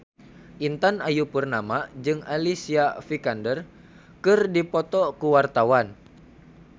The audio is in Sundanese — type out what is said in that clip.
Intan Ayu Purnama jeung Alicia Vikander keur dipoto ku wartawan